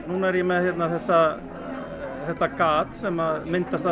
núna er ég með þetta þetta gat sem myndast